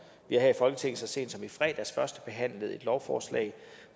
har her i folketinget så sent som i fredags førstebehandlet et lovforslag